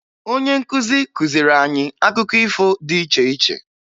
Onye nkuzi kuziri anyị akụkọ ifo dị iche iche